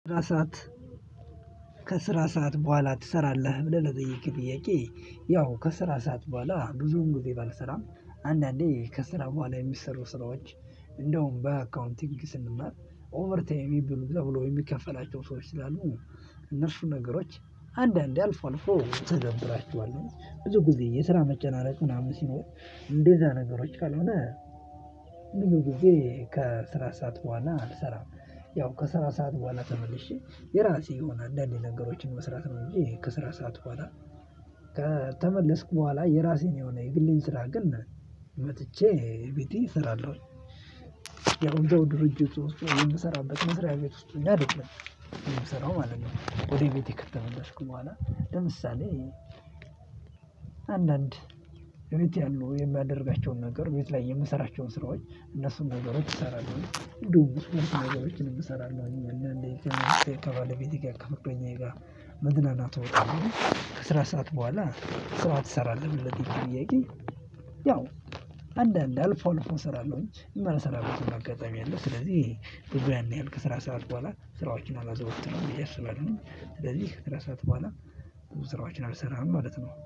ራሳት ከስራ ሰዓት በኋላ ትሰራለህ ብለህ ለጠየቅክ ጥያቄ? ያው ከስራ ሰዓት በኋላ ብዙውን ጊዜ ባልሰራም አንዳንዴ ከስራ በኋላ የሚሰሩ ስራዎች እንደውም በአካውንቲንግ ስንማር ኦቨርታይም የሚብሉ ተብሎ የሚከፈላቸው ሰዎች ስላሉ እነርሱ ነገሮች አንዳንዴ አልፎ አልፎ እተገብራችኋለሁ ብዙ ጊዜ የስራ መጨናነቅ ምናምን ሲኖር። እንደዛ ነገሮች ካልሆነ ብዙ ጊዜ ከስራ ሰዓት በኋላ አልሰራም። ያው ከስራ ሰዓት በኋላ ተመልሼ የራሴ የሆነ አንዳድ ነገሮችን መስራት ነው። እንጂ ከስራ ሰዓት በኋላ ከተመለስኩ በኋላ የራሴን የሆነ የግሌን ስራ ግን መጥቼ ቤቴ እሰራለሁ። ያው እዛው ድርጅቱ ውስጥ ወይም የምሰራበት መስሪያ ቤት ውስጥ ሆኜ አይደለም የምሰራው ማለት ነው። ወደ ቤቴ ከተመለስኩ በኋላ ለምሳሌ አንዳንድ ቤት ያሉ የሚያደርጋቸውን ነገር ቤት ላይ የምሰራቸውን ስራዎች እነሱን ነገሮች እሰራለሁ። እንዲሁም እነሱን ነገሮችን እሰራለሁ አንዳንዴ ከባለቤቴ ጋር ከጓደኛዬ ጋር መዝናናት እወጣለሁኝ። ከስራ ሰዓት በኋላ ስራ ተሰራለህ ብለህ ለጠየከኝ ጥያቄ? ያው አንዳንድ አልፎ አልፎ እሰራለሁኝ የማልሰራበትም አጋጣሚ አለ። ስለዚህ ብዙ ያን ያህል ከስራ ሰዓት በኋላ ስራዎችን አላዘወትርም ብዬ አስባለሁ። ስለዚህ ከስራ ሰዓት በኋላ ብዙ ስራዎችን አልሰራም ማለት ነው